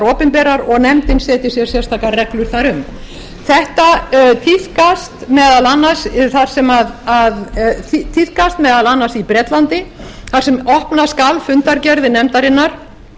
opinberar og nefndin setji sér sérstakar reglur þar um þetta tíðkast meðal annars í bretlandi þar sem opna skal fundargerðir nefndarinnar